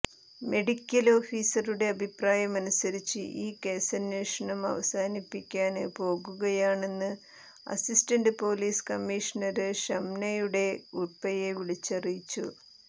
medical ഓഫീസറുടെ അഭിപ്രായമനുസരിച്ച് ഈ കേസന്വേഷണം അവസാനിപ്പിക്കാന് പോകുകയാണെന്ന് അസിസ്റ്റന്റ് പോലീസ് കമ്മീഷണര് ഷംനയുടെ ഉപ്പയെ വിളിച്ചറിയിച്ചു